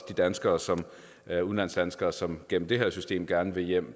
de danskere som er udlandsdanskere og som gennem det her system gerne vil hjem